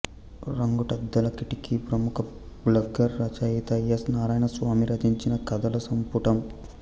రంగుటద్దాల కిటికీ ప్రముఖ బ్లాగర్ రచయిత ఎస్ నారాయణస్వామి రచించిన కథల సంపుటం